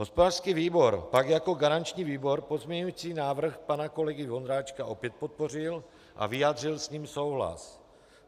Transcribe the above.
Hospodářský výbor tak jako garanční výbor pozměňovací návrh pana kolegy Vondráčka opět podpořil a vyjádřil s ním souhlas.